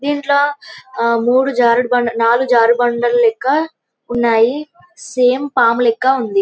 దీంట్లో మూడు జారుడుబండలు నాలుగుజారుడుబండలు ఉన్నాయి సేమ్ పాము లెక్క ఉంది .